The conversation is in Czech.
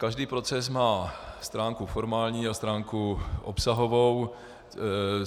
Každý proces má stránku formální a stránku obsahovou.